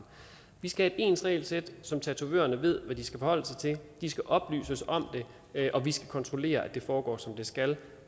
vi skal have et ens regelsæt så tatovørerne ved hvad de skal forholde sig til de skal oplyses om det og vi skal kontrollere at det foregår som det skal